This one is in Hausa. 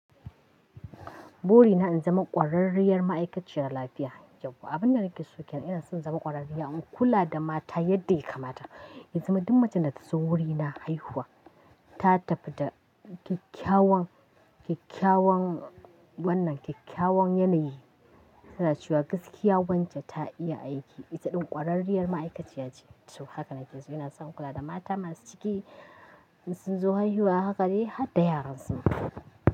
Bori na in zama ƙwararriyar ma'aikaciyar lafiya. Yau abin da nake so kenan ina son zama ƙwararriya in kula da mata yadda ya kamata. In zama duk macen da ta zo wurina haihuwa ta tafi da kyakkyawan, kyakkyawan wannan kyakkyawan yanayi, tana cewa gaskiya wance ta iya aiki. Ita ɗin ƙwararriyar ma'aikaciya ce. To haka nake so ina son kula da mata masu ciki in sun zo haihuwa haka ne har da yaran su.